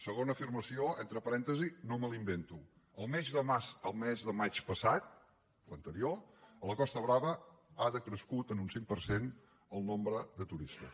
segona afirmació entre parèntesis no me la invento el mes de maig passat l’anterior a la costa brava ha decrescut en un cinc per cent el nombre de turistes